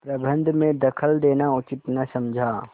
प्रबंध में दखल देना उचित न समझा